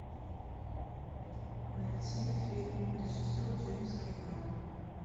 найти фильм режиссер джеймс кэмерон